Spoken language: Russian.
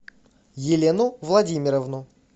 елену владимировну